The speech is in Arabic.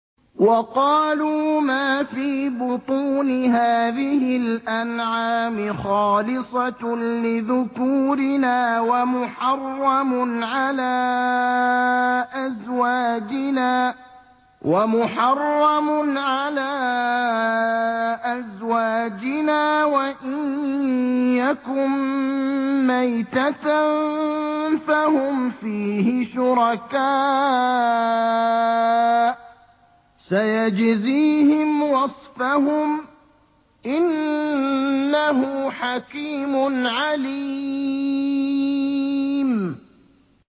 وَقَالُوا مَا فِي بُطُونِ هَٰذِهِ الْأَنْعَامِ خَالِصَةٌ لِّذُكُورِنَا وَمُحَرَّمٌ عَلَىٰ أَزْوَاجِنَا ۖ وَإِن يَكُن مَّيْتَةً فَهُمْ فِيهِ شُرَكَاءُ ۚ سَيَجْزِيهِمْ وَصْفَهُمْ ۚ إِنَّهُ حَكِيمٌ عَلِيمٌ